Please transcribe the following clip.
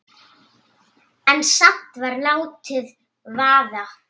En samt var látið vaða.